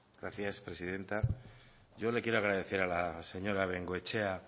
gracias presidenta yo le quiero agradecer a la señora bengoechea